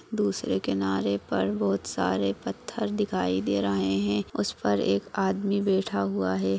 दूसरे किनारे पर बहोत सारे पत्थर दिखाई दे रहे हैं उस पर एक आदमी बैठा हुआ है।